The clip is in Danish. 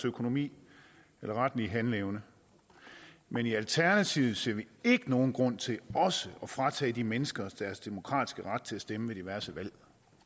økonomi eller retlige handleevne men i alternativet ser vi ikke nogen grund til også at fratage de mennesker deres demokratiske ret til at stemme ved diverse valg